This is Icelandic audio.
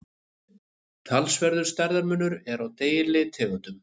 talsverður stærðarmunur er á deilitegundum